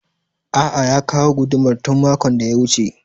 A'a ya kawo gudumar tun makon da ya wuce